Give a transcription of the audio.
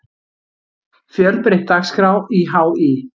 Fjölbreytt dagskrá í HÍ